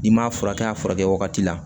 I m'a furakɛ a furakɛ wagati la